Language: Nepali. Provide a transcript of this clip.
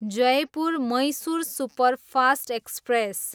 Jaipur, Mysore superfast express